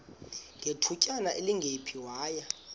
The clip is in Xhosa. ngethutyana elingephi waya